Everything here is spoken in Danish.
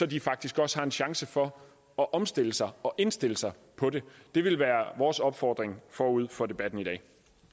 de faktisk også har en chance for at omstille sig og indstille sig på det det vil være vores opfordring forud for debatten i dag